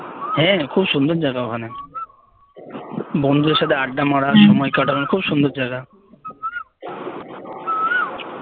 হ্যাঁ খুব সুন্দর জায়গা ওখানে বন্ধুদের সাথে আড্ডা মারার সময় কাটানোর খুব সুন্দর জায়গা